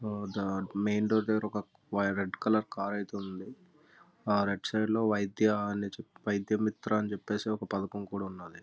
ఆ దా main road దగ్గర ఒక రెడ్ కలర్ కార్ అయితే ఉన్నాది. రైట్ సైడ్ లో వైద్య వైద్యమిత్ర అనే పధకం కూడా ఉన్నాది.